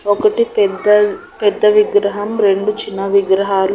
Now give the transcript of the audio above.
ఒకటి పెద్ద పెద్ద విగ్రహం రెండు చిన్న విగ్రహాలు--